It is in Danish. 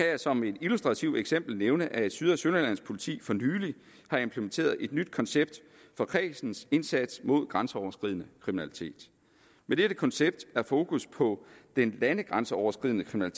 jeg som et illustrativt eksempel nævne at syd og sønderjyllands politi for nylig har implementeret et nyt koncept for kredsens indsats mod grænseoverskridende kriminalitet med dette koncept er fokus på den landegrænseoverskridende